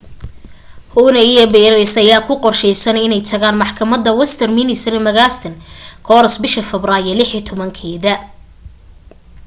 huhne iyo pryce ayaa ku qorshaysan inay tagaan maxakamadda westminster magistrates court bisha febraayo 16